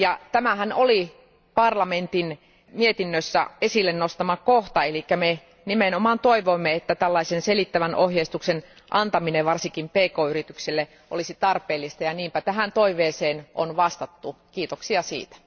Tämähän oli parlamentin mietinnössä esille nostama kohta, eli me nimenomaan katsoimme, että tällaisen selittävän ohjeistuksen antaminen varsinkin pk yrityksille olisi tarpeellista, ja niinpä tähän toiveeseen on vastattu, kiitoksia siitä.